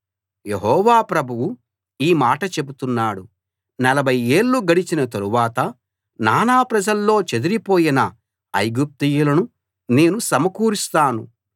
యెహోవా ప్రభువు ఈ మాట చెబుతున్నాడు నలభై ఏళ్ళు గడిచిన తరువాత నానాప్రజల్లో చెదరిపోయిన ఐగుప్తీయులను నేను సమకూరుస్తాను